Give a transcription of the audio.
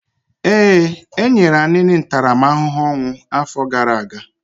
Ee, e nyere Anini ntaramahụhụ ọnwụ afọ gara aga.